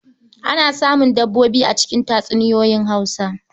Ana samun dabbobi a cikin tatsuniyoyin Hausa.